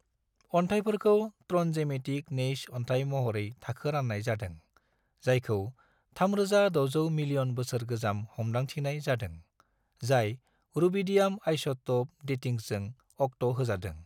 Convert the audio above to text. अन्थाइफोरखौ ट्रनडजेमेटिक नेइस अन्थाइ महरै थाखो रान्नाय जादों, जायखौ 3,600 मिलियन बोसोर गोजाम हमदांथिनाय जादों , जाय रूबिडियम आइसोटोप डेटिंगजों अक्ट होजादों।